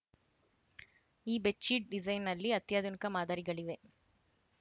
ಈ ಬೆಡ್‌ಶೀಟ್‌ ಡಿಸೈನ್‌ನಲ್ಲಿ ಅತ್ಯಾಧುನಿಕ ಮಾದರಿಗಳಿವೆ